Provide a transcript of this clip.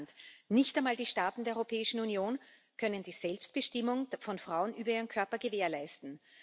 Kein Land nicht einmal die Staaten der Europäischen Union kann die Selbstbestimmung von Frauen über ihren Körper gewährleisten.